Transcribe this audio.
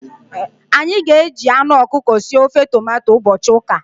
Anyị ga-eji anụ ọkụkọ sie ofe tomato ụbọchị ụka.